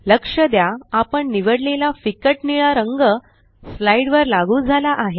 लक्ष द्या आपण निवडलेला फिक्कट निळा रंग स्लाइड वर लागू झाला आहे